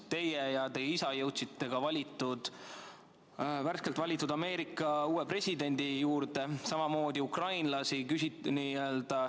Teie ja teie isa jõudsite ka värskelt valitud Ameerika uue presidendi juurde, samamoodi ukrainlaste juurde.